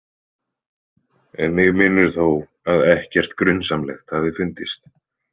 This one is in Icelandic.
Mig minnir þó að ekkert grunsamlegt hafi fundist.